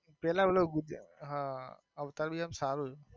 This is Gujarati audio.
પેલા ઓલા હા અવતાર બી એમ સારું છે.